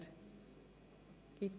– Das ist nicht der Fall.